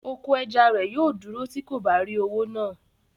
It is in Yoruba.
Oko ẹja rẹ̀ yóò dúró tí kò bá rí owó náà